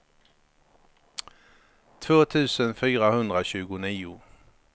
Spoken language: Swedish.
två tusen fyrahundratjugonio